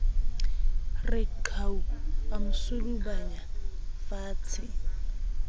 re qhau a mo sudubanyafatshe